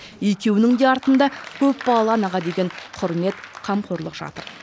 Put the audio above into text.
екеуінің де артында көпбалалы анаға деген құрмет қамқорлық жатыр